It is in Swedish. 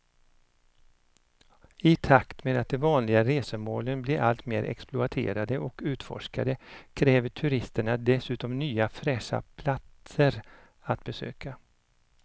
I takt med att de vanliga resmålen blir allt mer exploaterade och utforskade kräver turisterna dessutom nya fräscha platser att besöka.